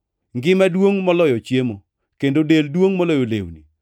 Ngima duongʼ moloyo chiemo, kendo del duongʼ moloyo lewni.